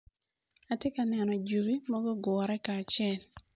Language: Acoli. Atye ka neno juri magugure kacel.